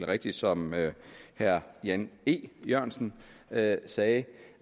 rigtigt som herre jan e jørgensen sagde sagde